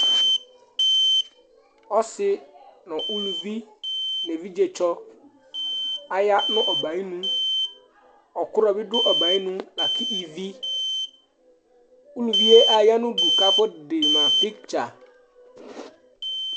Ɔsi ŋu ʋlʋvi evidze tsɔ aɖu ɔbɛ ayʋ iŋu Ɔkrɔ bi ɖu ɔbɛ'ɛ ayʋ iŋu lakʋ ívì Ʋlʋvie ayanu ʋdu lakʋ afɔ ɖema picture